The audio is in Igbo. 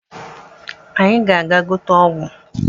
anyi ga-aga gote ogwu